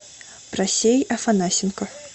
просей афанасенко